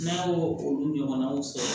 N'a y'o olu ɲɔgɔnnaw sɔrɔ